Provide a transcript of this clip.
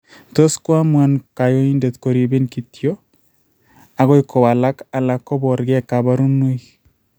Tot koamuan kanyoindet koribin kityok akoi kowalak ala koborkee kaborunoik